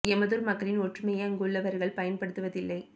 எமதூர் மக்களின் ஒற்றுமையை அங்குள்ளவர்கள் பயன்படுத்துவதில்லை